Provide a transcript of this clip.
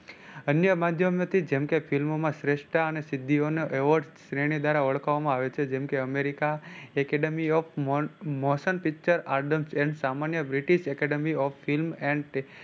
અન્ય માધ્યમ થી જેમ કે ફિલ્મોમાં શ્રેષ્ઠતા અને સિદ્ધિઓ નો Award શ્રેણી દ્વારા ઓળખવામાં આવે છે જેમ કે America acedemy of motion picture